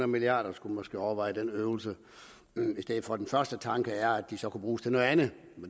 milliard kr skulle måske overveje den øvelse i stedet for den første tanke som var at de så kunne bruges til noget andet